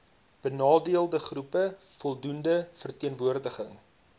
benadeeldegroepe voldoende verteenwoordiging